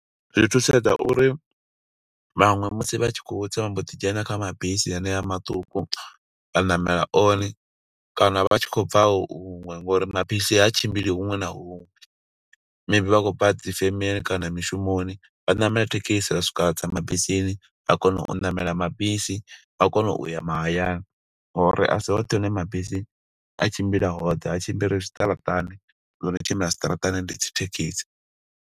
Zwi thusedza uri vhaṅwe musi vha tshi khou tsa, vha mbo ḓi dzhena kha mabisi haneyo maṱuku. Vha ṋamela one, kana vha tshi khou bva hu huṅwe, ngo uri mabisi ha tshimbili huṅwe na huṅwe. Maybe vha khou bva dzi femeni kana mishumon, vha ṋamele thekhisi, vha swika vha tsa mabisini ha kona u ṋamela mabisi, vha kona uya mahayani. Ngo uri asi hoṱhe hune mabisi a tshimbila hone, ha tshimbili zwiṱaraṱani. Zwo no tshimbila zwiṱaraṱani, ndi dzi thekhisi.